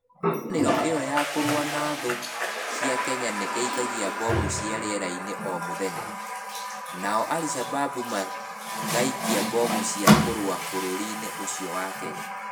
Ngwatanĩro ĩyo ya kũrũa na thũ cia Kenya nĩ ĩkagia mbomu cia rĩera-inĩ o mũthenya, nao aricababu magaikia mbomu cia kũrũa bũrũri-ini ũcio wa Kenya.